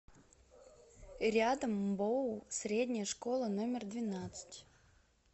рядом мбоу средняя школа номер двенадцать